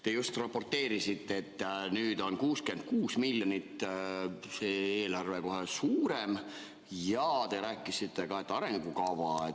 Te just raporteerisite, et nüüd on kohe 66 miljonit see eelarve suurem, ja te rääkisite ka arengukavast.